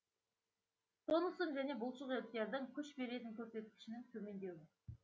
тонустың және бұлшық еттердің күш беретін көрсеткішінің төмендеуі